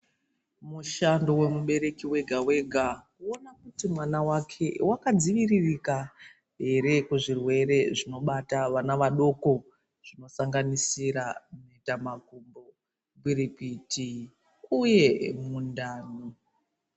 Mushando wemubereki wega-wega kuona kuti mwana wake wakadziviririka here kuzvirwere zvinobata vana vadoko zvinosanganisira mhetamakumbo, gwirikwiti uye mundani.